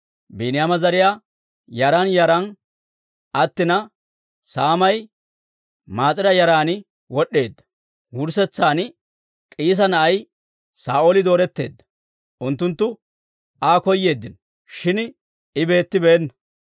Biiniyaama zariyaa yaran yaran aatsina, saamay Maas'ira yaran wod'd'eedda; wurssetsan K'iisa na'ay Saa'ooli dooretteedda. Unttunttu Aa koyeeddino; shin I beettibeenna.